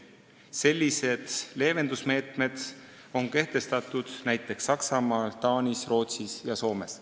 Sellised leevendusmeetmed on kehtestatud näiteks Saksamaal, Taanis, Rootsis ja Soomes.